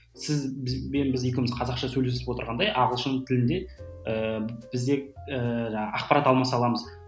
сіз бізбен біз екеуміз қазақша сөйлесіп отырғандай ағылшын тілде ііі біз де ііі жаңағы ақпарат алмаса аламыз